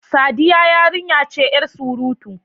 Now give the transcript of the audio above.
Sadiya yarinya ce yar surutu.